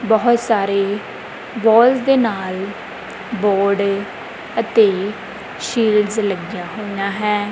ਬਹੁਤ ਸਾਰੇ ਗੋਲਸ ਦੇ ਨਾਲ ਬੋਰਡ ਅਤੇ ਸ਼ੀਲਡ ਲੱਗਿਆ ਹੋਈਆਂ ਹੈ।